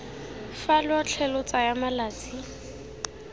fa lotlhe lo tsaya malatsi